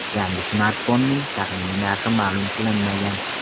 Yangi smartfonning taxminiy narxi ma’lum qilinmagan.